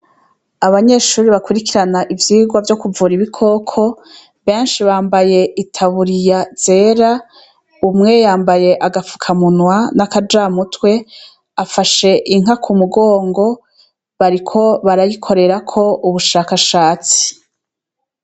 Abanyeshure bakurikirana ivyigwa vyokuvura ibikoko benshi bambaye itaburiya zera, umwe yambaye agafukamunwa n'akajamutwe afashe inka kumugongo bariko barayikorerako ubushakashatsi.